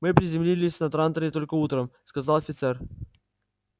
мы приземлились на транторе только утром сказал офицер